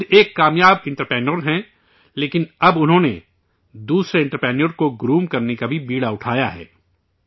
وہ خود ایک کامیاب انٹرپریونیور ہیں، لیکن اب انہوں نے، دوسرے انٹرپریونیور کو گروم کرنے کا بھی بیڑا اٹھایا ہے